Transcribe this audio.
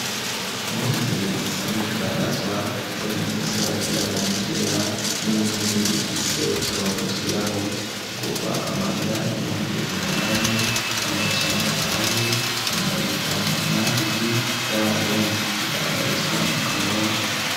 Impuzu zibiri zisanzwe zidandazwa harimwo iyifise ibara ryirabura n'iryera, n'iyindi ifise uturongo twirabura igurwa amahera ibihumbi umunani n'amajana ane na mirongo itanu n'abiri y'amarundi, zidandarizwa mu kanyosha.